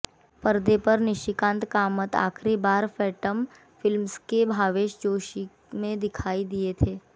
परदे पर निशिकांत कामत आखिरी बार फैंटम फिल्म्स की भावेश जोशी में दिखाई दिए थे